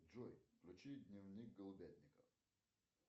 джой включи дневник голубятника